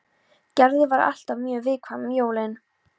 Gerður var alltaf mjög viðkvæm um jólin.